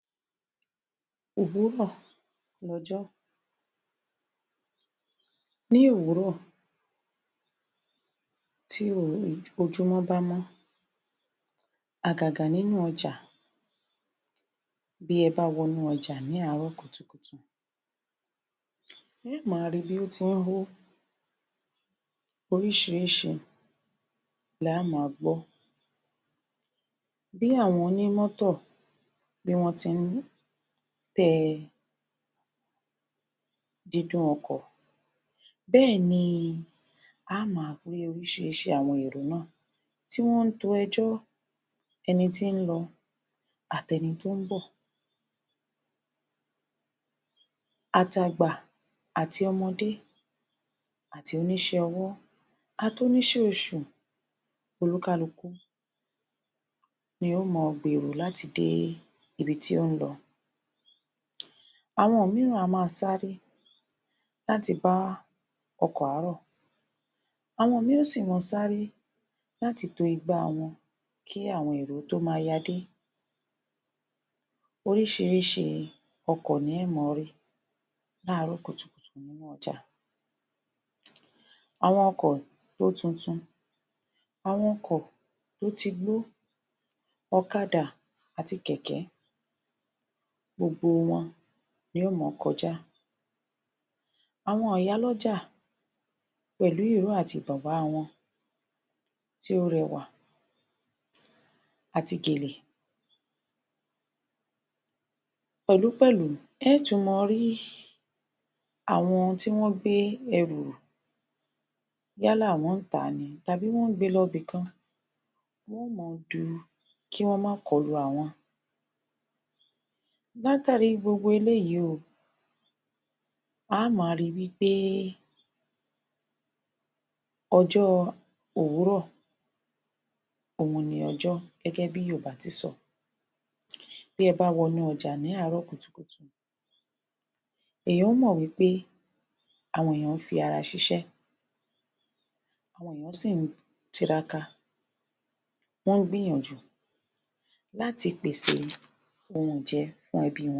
Òwúrọ̀ l'ọjọ́ Ní òwúrọ̀, bí ojumọ́ bá mọ́ àgàgà nínú ọjà, bí ẹ bá wọnú ọjà ní àárọ̀ kùtùkùtù Ẹ ó máa ri bí ó ti ń hó oríṣìíríṣìí la á máa gbọ́ bí àwọn oní mọ́tọ̀, bí wọ́n tí ń tẹ dídún ọkọ̀, bẹ́ẹ̀ ni á máa rí oríṣìíríṣìí àwọn èrò náà tí wọ́n to ẹjọ́, eni tí ń lọ, àti ẹni tó ń bọ̀, àt'àgbà, àti ọmọdé, àti onísẹ́ ọwọ́, àti oníṣẹ́ oṣù, oníkálukú ni yóo máa gbèrò láti dé ibi tí ó ń lọ, àwọn mìíran á máa sáré láti bá ọkọ̀ àárọ̀, àwọn mìíràn yóò si máa sáré láti to igbá wọn kí àwọn èrò tó máa ya dé. oríṣìíríṣìí ọkọ̀ ni ẹ ó máa rí l'áàárọ̀ kùtùkùtù nínú ọjà, àwọn ọkọ̀ tó tuntun, àwọn ọkọ̀ tó ti gbó, ọ̀kadà àti kẹ̀kẹ́, gbogbo wọn ni yóò máa kọjá. Àwọn ìyálọ́jà pèlú ìró àti bùba wọn tí ó rẹwà àti gèlè. pẹ̀lúpẹ̀lú ẹ ó tún máa rí àwọn tí wọ́n gbé ẹrù rù yálà wọ́n tàá ni tàbí wọ́n gbe lọ ibí kan, wọ́n máa du kí wọ́n máa kọlù àwọn. Látàárí gbogbo eléyìí o, a máa ri wí pé ọjọ́ òwúrọ̀ òun ni ọjọ́ gẹ́gẹ́ bí Yorùbá ti sọ. Bí ẹ bá w'ọnú ọjà ní àárọ̀ kùtùkùtù, èyàn ó mọ́ wí pé àwọn èèyàn ń fi ara ṣiṣẹ́, wọ́n sì ń tiraka, wọ́n ń gbìyànjú láti pèsè ohun ìje fún ẹbí wọn.